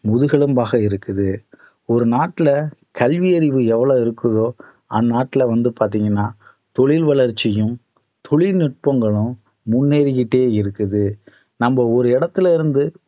முதுகெலும்பாக இருக்குது ஒரு நாட்டுல கல்வி அறிவு எவ்வளவு இருக்குதோ அந்நாட்டுல வந்து பாத்தீங்கன்னா தொழில் வளர்ச்சியும் தொழில்நுட்பங்களும் முன்னேறிகிட்டே இருக்குது நம்ம ஒரு இடத்துல இருந்து